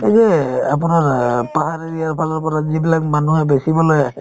এই যে আপোনাৰ অ পাহাৰ area ৰ ফালৰ পৰা যিবিলাক মানুহে বেচিবলৈ আহে